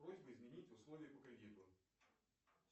просьба изменить условия по кредиту